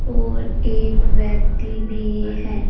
और एक व्यक्ति भी है।